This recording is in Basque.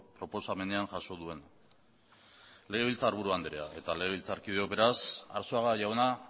proposamenean jaso duen legebiltzarburu andrea eta legebiltzarkideok beraz arzuaga jauna